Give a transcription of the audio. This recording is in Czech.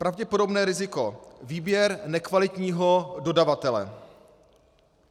Pravděpodobné riziko - výběr nekvalitního dodavatele.